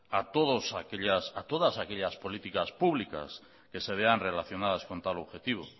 a todas aquellas políticas públicas que se vean relacionadas con tal objetivo